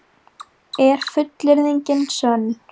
Er fullyrðingin sönn?